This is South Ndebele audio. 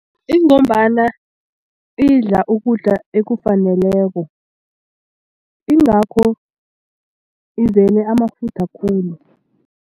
Ingombana idla ukudla okufaneleko ingakho izele amafutha khulu.